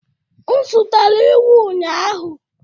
M zụtara ewu ụnyahụ.